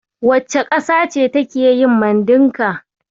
Wace ƙasa ce take yin Mandinka?